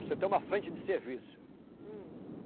Você tem uma frente de serviço. hum